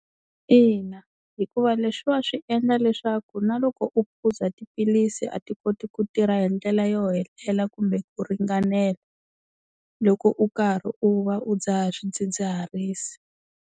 Ina hikuva leswiwa swi endla leswaku na loko u phuza tiphilisi a ti koti ku tirha hi ndlela yo hela kumbe ku ringanela, loko u karhi u va u dzaha swidzidziharisi.